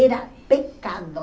Era pecado.